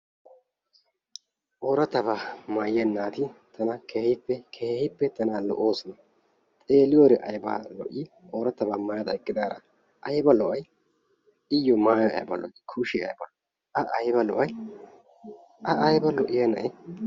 Ooratabaa maayiya naati tana keehippe keehippe tana lo"oosona, xeeliyode ayba lo"i oorattabaa mayada eqqidara ayba lo'ay iyo maayoy ayba lo"i kushee ayba lo"i a ayba lo'ay a aybee lo"iya na'ee